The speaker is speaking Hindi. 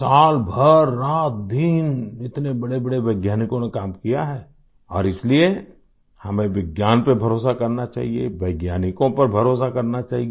साल भर रातदिन इतने बड़ेबड़े वैज्ञानिकों ने काम किया है और इसलिए हमें विज्ञान पर भरोसा करना चाहिये वैज्ञानिकों पर भरोसा करना चाहिये